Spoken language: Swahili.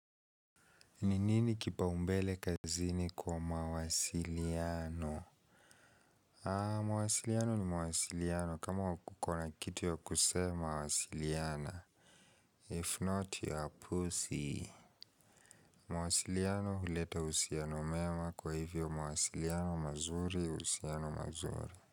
Ni nini kipaumbele kazini kwa mawasiliano? Ah, mawasiliano ni mawasiliano. Kama kukona kitu ya kusema wasiliana. If not, you are pussy. Mwasiliano huleta usiano mema kwa hivyo mawasiliano mazuri, usianomazuri.